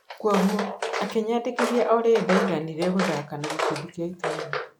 kwoguo akĩnyandĩkithia o rĩrĩ ndaiganire gũthaka na gĩkundi kĩa itũra